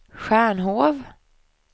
Stjärnhov